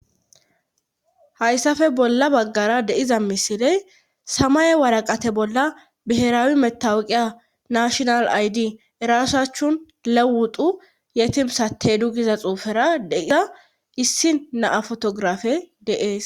hayssafe bolla baggara deiza misiley samay waraqate bolla biheraawi metawuqiya nashinal aydi erasachun lewuxu yetimsate du giza xuufera deiza issi naa fotografe deees